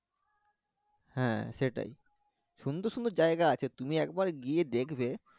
হ্যাঁ সেটাই। সুন্দর সুন্দর জায়গা আছে, তুমি একবার গিয়ে দেখবে